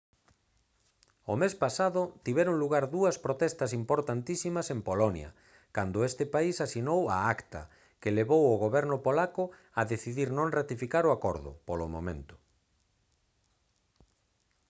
o mes pasado tiveron lugar dúas protestas importantísimas en polonia cando ese país asinou a acta que levou ao goberno polaco a decidir non ratificar o acordo polo momento